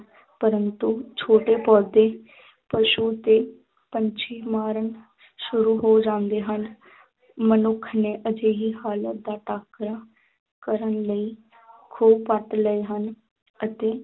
ਪ੍ਰੰਤੂ ਛੋਟੇ ਪੌਦੇ ਪਸੂ ਤੇ ਪੰਛੀ ਮਰਨ ਸ਼ੁਰੂ ਹੋ ਜਾਂਦੇ ਹਨ ਮਨੁੱਖ ਨੇ ਅਜਿਹੀ ਹਾਲਤ ਦਾ ਟਾਕਰਾ ਕਰਨ ਲਈ ਖੂਹ ਪੱਟ ਲਏ ਹਨ ਅਤੇ